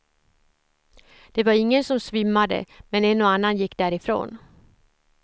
Det var ingen som svimmade, men en och annan gick därifrån.